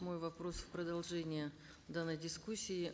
мой вопрос в продолжение данной дискуссии